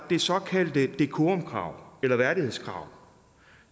det såkaldte decorumkrav eller værdighedskrav